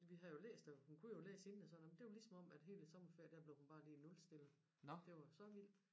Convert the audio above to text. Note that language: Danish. Vi havde jo læst og hun kunne jo læse inden og sådan noget det var lige som om at hele sommerferie der blev hun bare lige nulstillet det var så vildt